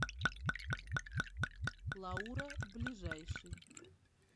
лаура ближайший